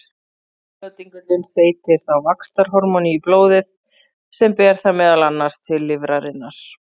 Heiladingullinn seytir þá vaxtarhormóni í blóðið sem ber það meðal annars til lifrarinnar.